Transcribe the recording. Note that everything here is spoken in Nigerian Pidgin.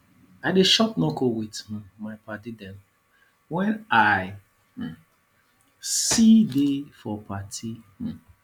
i dey chop knuckle with um my paddy dem wen i um see dey for party um